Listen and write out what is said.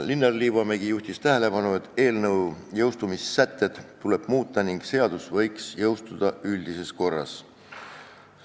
Linnar Liivamägi juhtis tähelepanu, et eelnõu jõustumissätteid tuleb muuta ning seadus võiks jõustuda üldises korras.